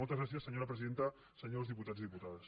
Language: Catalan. moltes gràcies senyora presidenta senyors diputats i diputades